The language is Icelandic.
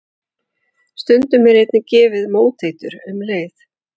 Stundum er einnig gefið móteitur um leið.